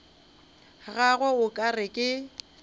gagwe o ka re ke